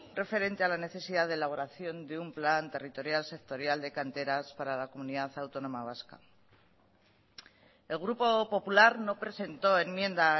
referente a la necesidad de elaboración de un plan territorial sectorial de canteras para la comunidad autónoma vasca el grupo popular no presentó enmienda a